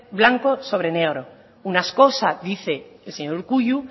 blanco sobre negro una cosa dice el señor urkullu